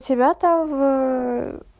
тебя в